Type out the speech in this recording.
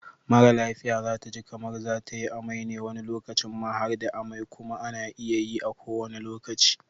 Mara lafia zataji kamar zatayi amai ne wani lokacin ma harda amai kuma ana iya yi a kowanne lokaci